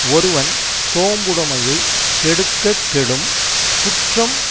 ஒருவன் சோம்புடைமையைக் கெடுக்கக் கெடும் குற்றம்